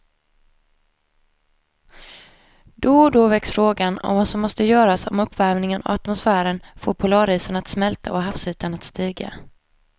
Då och då väcks frågan om vad som måste göras om uppvärmingen av atmosfären får polarisarna att smälta och havsytan att stiga.